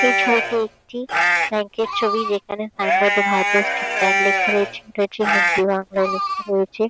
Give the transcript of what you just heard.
এই ছিবিটি একটি ব্যাঙ্ক -এর ছবি যেখানে সাইন বোর্ড -এ ভারতীয় স্টেট ব্যাঙ্ক লেখা রয়েছে। এটা হচ্ছে হিন্দি বাংলায় লেখা রয়েছে।